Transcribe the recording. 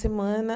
Semana